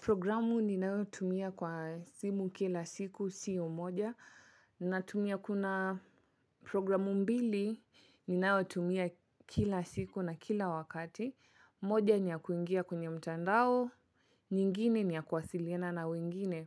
Programu ninayo tumia kwa simu kila siku siyo moja natumia kuna programu mbili ni nao tumia kila siku na kila wakati. Moja ni ya kuingia kwenye mchandao, nyingine ni ya kuwasiliana na wengine.